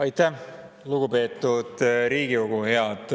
Aitäh, lugupeetud Riigikogu!